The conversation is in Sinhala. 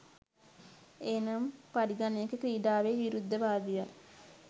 එනම් පරිගණක ක්‍රිඩාවෙ විරුද්ධවාදියා